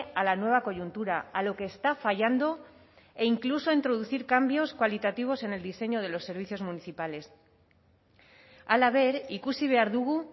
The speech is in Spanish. a la nueva coyuntura a lo que está fallando e incluso introducir cambios cualitativos en el diseño de los servicios municipales halaber ikusi behar dugu